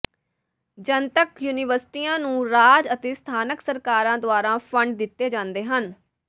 ਜਨਤਕ ਯੂਨੀਵਰਸਿਟੀਆਂ ਨੂੰ ਰਾਜ ਅਤੇ ਸਥਾਨਕ ਸਰਕਾਰਾਂ ਦੁਆਰਾ ਫੰਡ ਦਿੱਤੇ ਜਾਂਦੇ ਹਨ